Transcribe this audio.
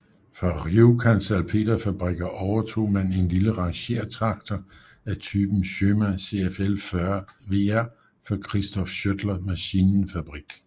Fra Rjukan Salpeterfabriker overtog man en lille rangertraktor af typen Schöma CFL 40 VR fra Christoph Schöttler Maschinenfabrik